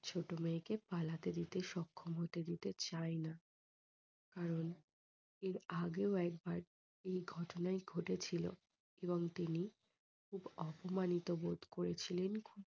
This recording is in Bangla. ছোট মেয়েকে পালতে সক্ষম হতে দিতে চায় না। কারণ এর আগেও একবার এই ঘটনাই ঘটেছিলো। এবং তিনি খুব অপমানিত বোধ করেছিলেন।